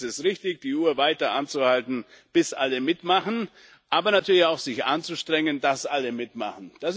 Deswegen ist es richtig, die Uhr weiter anzuhalten, bis alle mitmachen, aber natürlich auch sich anzustrengen, dass alle mitmachen.